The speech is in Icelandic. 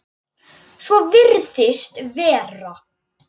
Svo virðist vera.